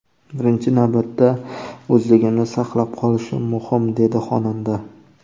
Birinchi navbatda o‘zligimni saqlab qolishim muhim”, dedi xonanda.